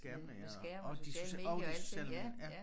Med med skærm og sociale medier og alting ja ja